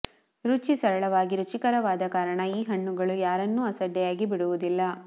ರುಚಿ ಸರಳವಾಗಿ ರುಚಿಕರವಾದ ಕಾರಣ ಈ ಹಣ್ಣುಗಳು ಯಾರನ್ನೂ ಅಸಡ್ಡೆಯಾಗಿ ಬಿಡುವುದಿಲ್ಲ